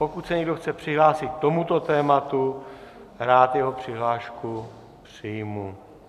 Pokud se někdo chce přihlásit k tomuto tématu, rád jeho přihlášku přijmu.